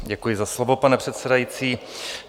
Děkuji za slovo, pane předsedající.